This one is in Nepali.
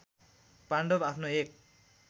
पाण्डव आफ्नो एक